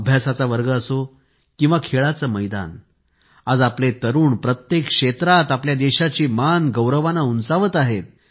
अभ्यासाचा वर्ग असो किंवा खेळाचे मैदान आज आपले तरुण प्रत्येक क्षेत्रात आपल्या देशाची मान गौरवाने उंचावत आहेत